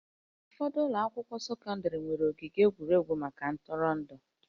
Ụfọdụ ụlọ akwụkwọ sekọndrị nwere ogige egwuregwu maka ntụrụndụ